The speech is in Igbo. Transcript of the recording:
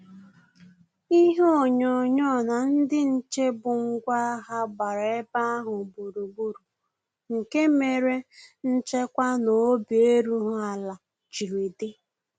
Ihe onyonyo na ndị nche bụ ngwa agha gbara ebe ahụ gburugburu, nke mere nchekwa na obi erughị ala jiri di